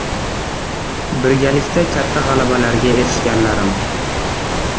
Birgalikda katta g‘alabalarga erishganlarim.